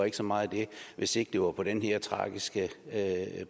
ikke så meget det hvis ikke det var på den her tragiske